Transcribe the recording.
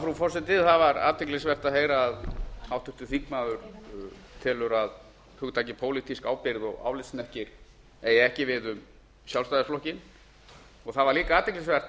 frú forseti það var athyglisvert að heyra að háttvirtur þingmaður telur að hugtakið pólitísk ábyrgð og álitshnekkir eigi ekki við um sjálfstæðisflokkinn það var líka athyglisvert að